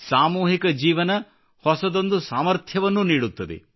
ಸಾಮೂಹಿಕ ಜೀವನ ಹೊಸದೊಂದು ಸಾಮರ್ಥ್ಯವನ್ನು ನೀಡುತ್ತದೆ